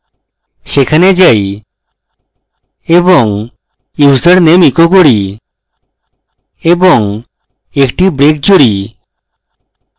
সেখানে যাই এবং username echo করি এবং একটি break জুড়ি